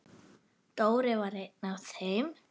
Dóri var einn af þeim.